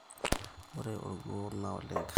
ore orkuo na ole nker